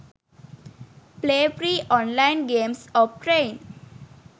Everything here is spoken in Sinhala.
play free online games of train